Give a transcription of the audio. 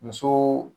Muso